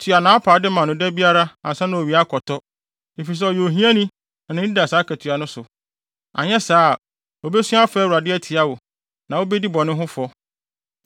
Tua nʼapaade ma no da biara ansa na owia akɔtɔ, efisɛ ɔyɛ ohiani na nʼani da saa akatua no so. Anyɛ saa a, obesu afrɛ Awurade atia wo, na wubedi bɔne ho fɔ.